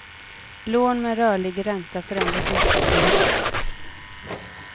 Lån med rörlig ränta förändras inte.